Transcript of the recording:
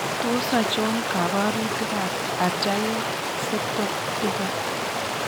Tos achon kabarutik ab Atrial septal defect ?